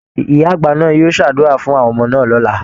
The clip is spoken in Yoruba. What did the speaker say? Ìyá-àgbà náà yóò ṣàdúrà fún àwọn ọmọ náà lọ̀la